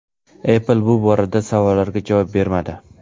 Apple bu borada savollarga javob bermadi.